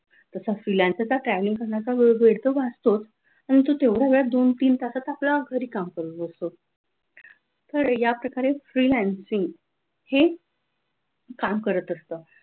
तासा freelancer चा travelling करण्याचा वेळ भेटतो का आणि तू तेवढ्या वेळात दोन तीन तासात आपल्या घरी काम करू शकतो तर या प्रकारे freelancing हि काम करत असतात.